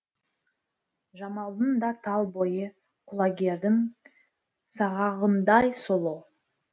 жамалдың да тал бойы құлагердің сағағындай сұлу